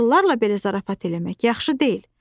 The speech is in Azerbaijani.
Yoxsullarla belə zarafat eləmək yaxşı deyil.